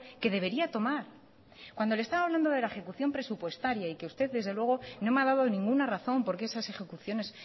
que debería tomar cuando le estaba hablando de la ejecución presupuestaria y que usted desde luego no me ha dado ninguna razón por qué esas ejecuciones